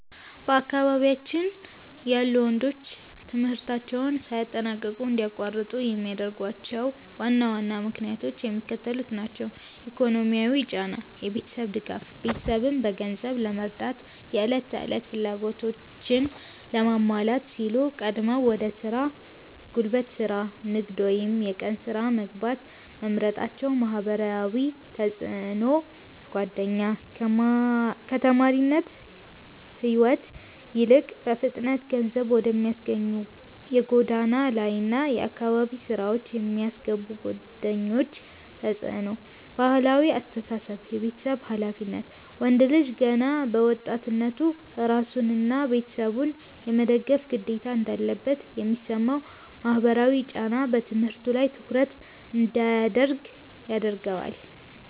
በአካባቢያችን ያሉ ወንዶች ትምህርታቸውን ሳያጠናቅቁ እንዲያቋርጡ የሚያደርጓቸው ዋና ዋና ምክንያቶች የሚከተሉት ናቸው፦ ኢኮኖሚያዊ ጫና (የቤተሰብ ድጋፍ)፦ ቤተሰብን በገንዘብ ለመርዳትና የዕለት ተዕለት ፍላጎቶችን ለማሟላት ሲሉ ቀድመው ወደ ሥራ (ጉልበት ሥራ፣ ንግድ ወይም የቀን ሥራ) መግባት መምረጣቸው። ማህበራዊ ተጽዕኖና ጓደኛ፦ ከተማሪነት ሕይወት ይልቅ በፍጥነት ገንዘብ ወደሚያስገኙ የጎዳና ላይና የአካባቢ ሥራዎች የሚስቡ ጓደኞች ተጽዕኖ። ባህላዊ አስተሳሰብ (የቤተሰብ ኃላፊነት)፦ ወንድ ልጅ ገና በወጣትነቱ ራሱንና ቤተሰቡን የመደገፍ ግዴታ እንዳለበት የሚሰማው ማህበራዊ ጫና በትምህርቱ ላይ ትኩረት እንዳያደርግ ያደርገዋል።